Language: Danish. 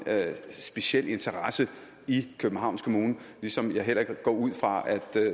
speciel interesse i københavns kommune ligesom jeg heller ikke går ud fra at